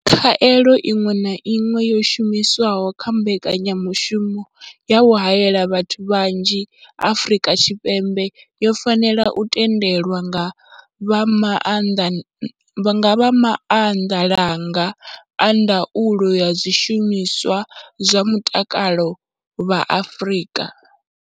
Khaelo iṅwe na iṅwe yo shumiswaho kha mbekanyamushumo ya u haela vhathu vhanzhi Afrika Tshipembe yo fanela u tendelwa nga vha maanḓalanga a ndaulo ya zwishumiswa zwa mutakalo vha Afrika.